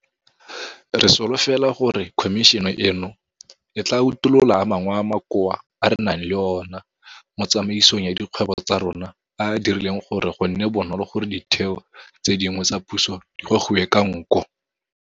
Re solofela gore khomišene eno e tla utolola a mangwe a makoa a re nang le ona mo tsamaisong ya dikgwebo tsa rona a a dirileng gore go nne bonolo gore ditheo tse dingwe tsa puso di gogiwe ka nko.